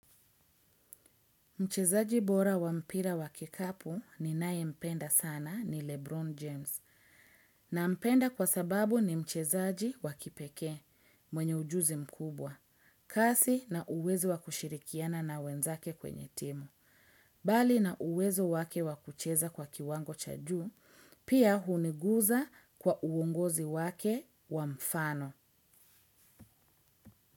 Mchezaji bora wa mpira wa kikapu ni nae mpenda sana ni Lebron James. Na mpenda kwa sababu ni mchezaji wa kipeke mwenye ujuzi mkubwa. Kasi na uwezo wa kushirikiana na wenzake kwenye timu. Bali na uwezo wake wa kucheza kwa kiwango cha juu, pia huniguza kwa uongozi wake wa mfano.